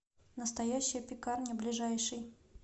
настоящая пекарня ближайший